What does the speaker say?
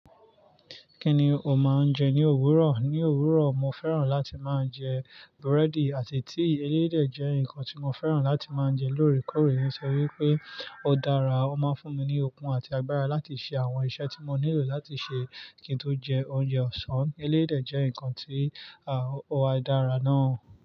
Kí ni o máa ń jẹ ní òwúrọ̀? Ní òwúrọ̀, mo fẹ́ràn láti máa jẹ brẹ́dì àti tíì. Eyí dè jẹ́ nǹkan tí mo fẹ́ràn láti máa jẹ lóòrèkóòrè. Mó ṣọ̀ wí pé ó dára, ó máa ń fún mi ní okun àti agbára láti ṣe àwọn iṣẹ́ tí mo nílò láti ṣe. Kí n tó jẹ oúnjẹ ọ̀sán, elédè jẹ́ nǹkan tí, ah ó wa dára náà.